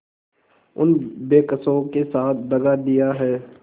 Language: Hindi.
उन बेकसों के साथ दगा दिया है